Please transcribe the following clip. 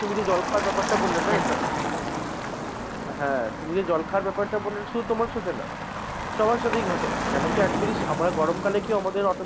তুমি যে জল খাওয়ার ব্যাপারটা বললে না এটা হ্যাঁ, তুমি যে জল খাওয়ার ব্যাপারটা বললে শুধু তোমার সাথে না সবার সাথেই ঘটে, কেন কি actually আমাদের গরম কালে কি হয়,